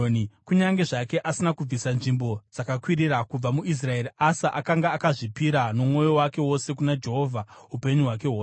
Kunyange zvake asina kubvisa nzvimbo dzakakwirira kubva muIsraeri, Asa akanga akazvipira nomwoyo wake wose kuna Jehovha upenyu hwake hwose.